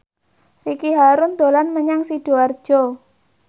Ricky Harun dolan menyang Sidoarjo